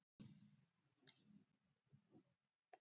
Maður hefur aldrei heilsað þessu.